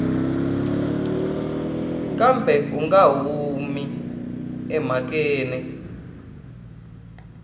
kambe u nga humi emhakeni